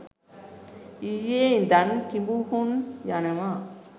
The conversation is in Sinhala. ඊයේ ඉදන් කිඹුහුන් යනවා